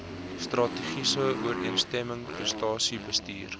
strategiese ooreenstemming prestasiebestuur